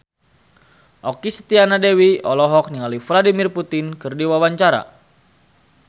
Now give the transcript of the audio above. Okky Setiana Dewi olohok ningali Vladimir Putin keur diwawancara